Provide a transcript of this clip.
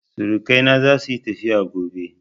Surukai na za su yi tafiya gobe